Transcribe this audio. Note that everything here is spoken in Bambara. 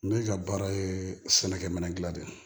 Ne ka baara ye sɛnɛkɛminɛ dila de ye